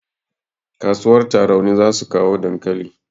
Kasuwar tarauni zasu kawo dankali